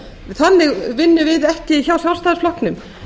þannig vinnum við ekki hjá sjálfstæðisflokknum